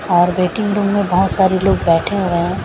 और waiting room में बहुत सारे लोग बैठे हुए हैं।